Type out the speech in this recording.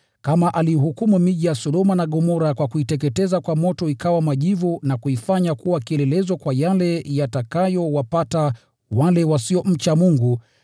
kama aliihukumu miji ya Sodoma na Gomora kwa kuiteketeza kwa moto ikawa majivu, na kuifanya kuwa kielelezo kwa yale yatakayowapata wale wasiomcha Mungu;